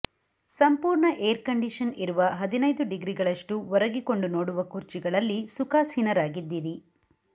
ಸಂಪೂರ್ಣ air condition ಇರುವ ಹದಿನೈದು ಡಿಗ್ರಿಗಳಷ್ಟು ಒರಗಿಕೊಂಡು ನೋಡುವ ಕುರ್ಚಿಗಳಲ್ಲಿ ಸುಖಾಸೀನರಾಗಿದ್ದೀರಿ